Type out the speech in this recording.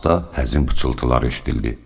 Asta həzin pıçıltılar eşidildi.